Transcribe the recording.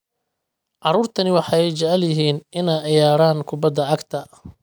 Carruurtani waxay jecel yihiin inay ciyaaraan kubbadda cagta